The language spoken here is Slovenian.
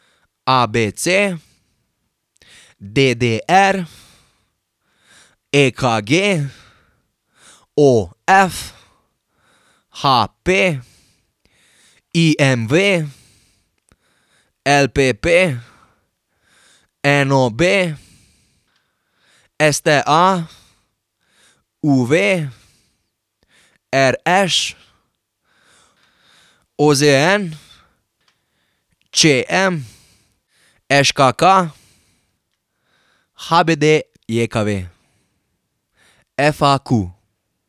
A B C; D D R; E K G; O F; H P; I M V; L P P; N O B; S T A; U V; R Š; O Z N; Č M; Ž K K; H B D J K V; F A Q.